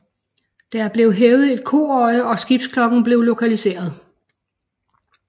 Der blev hævet et koøje og skibsklokken blev lokaliseret